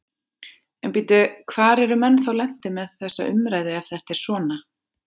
En bíddu, hvar eru menn lentir þá með þessa umræðu ef þetta er svona?